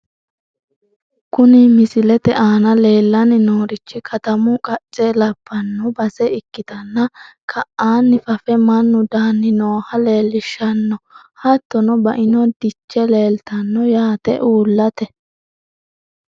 Kuni misilete aana leellanni noorichi katamu qacce labbanno base ikkitanna, ka'aanni fafe mannu daanni nooha leellishshanno. hattono baino diche leeltanno yaate uullate.